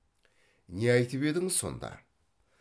не айтып едің сонда